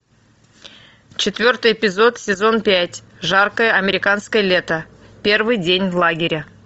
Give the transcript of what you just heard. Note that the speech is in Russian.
четвертый эпизод сезон пять жаркое американское лето первый день в лагере